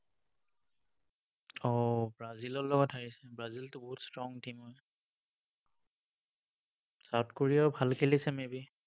অ, ব্ৰাজিলৰ লগত হাৰিছে। ব্ৰাজিলটো বহুত strong team হয়। South Korea ও ভাল খেলিছে maybe